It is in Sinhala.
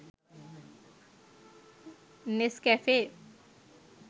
nescafe